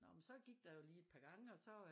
Nå men så gik der jo lige et par gange og så